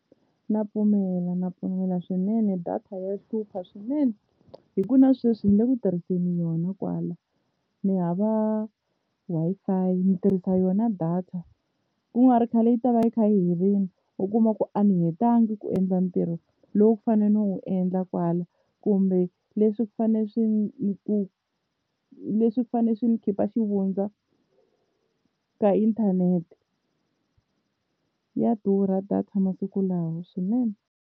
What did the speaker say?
Na pfumela na pfumela swinene data ya hlupha swinene hi ku na sweswi ni le ku tirhiseni yona kwala, ni hava Wi-Fi ni tirhisa yona data ku nga ri khale yi ta va yi kha yi herile u kuma ku a ni hetanga ku endla ntirho lowu a ni fanele ni wu endla kwala kumbe leswi fane swi ku leswi fane swi ni khipa xivundza ka inthanete ya durha data masiku lawa swinene.